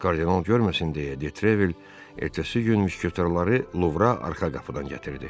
Kardinal görməsin deyə De Trevil ertəsi gün müşketorları Luvra arxa qapıdan gətirdi.